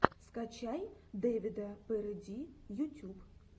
скачай дэвида пэрэди ютюб